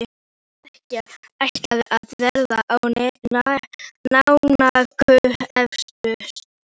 Þessi skekkja ætlaði að verða náunganum erfiðust.